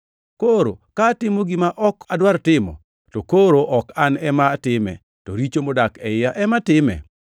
Koro ka atimo gima ok adwar timo, to koro an ok ema atime, to richo modak e iya ema time.